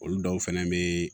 Olu dɔw fɛnɛ be